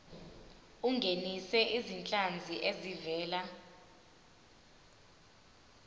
ungenise izinhlanzi ezivela